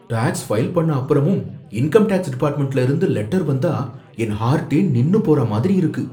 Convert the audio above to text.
Tax file பண்ண அப்புறமும் income tax டிபார்ட்மென்ட்ல இருந்து லெட்டர் வந்தா என் ஹார்ட்டே நின்னு போற மாதிரி இருக்கு.